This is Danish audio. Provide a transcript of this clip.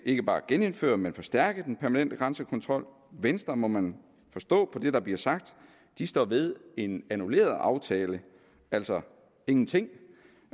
ikke bare genindføre men forstærke den permanente grænsekontrol venstre må man forstå på det der bliver sagt står ved en annulleret aftale altså ingenting